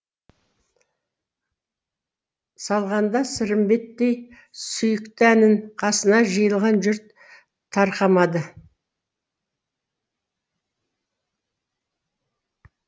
салғанда сырымбеттей сүйікті әнін қасына жиылған жұрт тарқамады